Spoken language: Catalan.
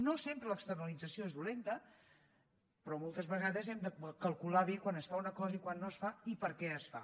no sempre l’externalització és dolenta però moltes vegades hem de calcular bé quan es fa una cosa i quan no es fa i per què es fa